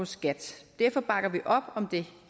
skat derfor bakker vi op om det